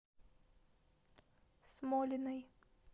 смолиной